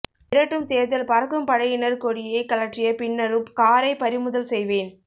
மிரட்டும் தேர்தல் பறக்கும் படையினர் கொடியை கழற்றிய பின்னரும் காரை பறிமுதல் செய்வேன்